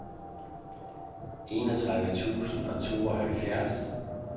enogtredive tusind og tooghalvfjerds